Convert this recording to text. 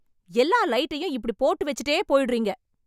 எல்லா லைட்டையும் இப்படி போட்டு வச்சுட்டே போயிடுறீங்க